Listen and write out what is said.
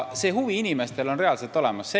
See huvi on inimestel reaalselt olemas.